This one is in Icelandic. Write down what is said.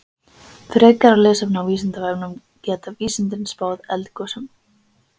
Frekara lesefni á Vísindavefnum Geta vísindin spáð eldgosum?